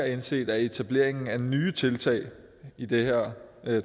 indset at etableringen af nye tiltag i det her